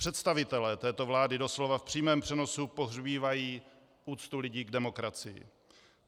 Představitelé této vlády doslova v přímém přenosu pohřbívají úctu lidí k demokracii.